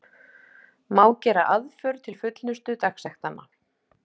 Má gera aðför til fullnustu dagsektanna.